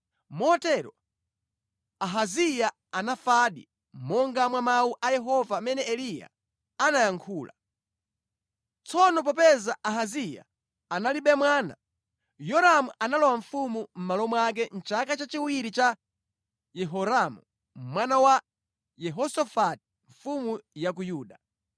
Motero Ahaziya anafadi, monga mwa mawu a Yehova amene Eliya anayankhula. Tsono popeza Ahaziya analibe mwana, Yoramu analowa ufumu mʼmalo mwake mʼchaka chachiwiri cha Yehoramu mwana wa Yehosafati mfumu ya ku Yuda.